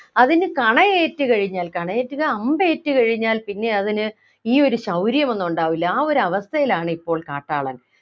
അതിനു കണയേറ്റു കഴിഞ്ഞാൽ കണയേറ്റുക അമ്പേറ്റു കഴിഞ്ഞാൽ പിന്നെ അതിനു ഈ ഒരു ശൗര്യം ഒന്നും ഉണ്ടാകില്ല ആ ഒരു അവസ്ഥയിലാണിപ്പോൾ കാട്ടാളൻ